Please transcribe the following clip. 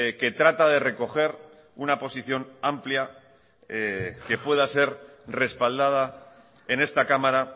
que trata de recoger una posición amplia que pueda ser respaldada en esta cámara